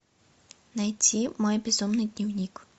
найти мой безумный дневник